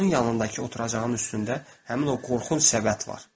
Onun yanındakı oturacağın üstündə həmin o qorxunc səbət var.